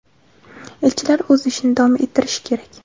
elchilar o‘z ishini davom ettirishi kerak.